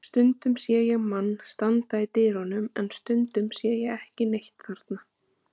Stundum sé ég mann standa í dyrunum en stundum sé ég ekki neitt þarna.